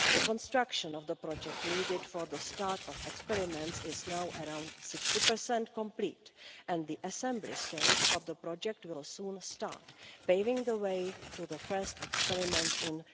The construction of the project needed for the start of experiments is now around 60 complete and the assembly stage of the project will soon start, paving the way for the first experiments in